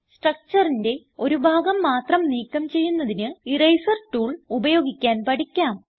Structureന്റെ ഒരു ഭാഗം മാത്രം നീക്കം ചെയ്യുന്നതിന് ഇറേസർ ടൂൾ ഉപയോഗിക്കാൻ പഠിക്കാം